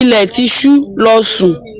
Ilẹ̀ ti ṣú, lọ́ sún!